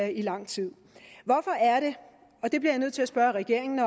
i lang tid jeg bliver nødt til at spørge regeringen